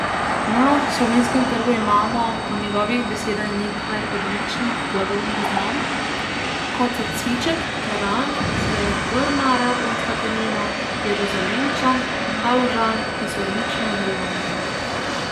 Na slovenskem trgu imamo po njegovih besedah nekaj odličnih blagovnih znamk, kot so cviček, teran, srebrna radgonska penina, jeruzalemčan, haložan, ki so odlično uveljavljene.